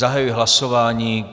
Zahajuji hlasování.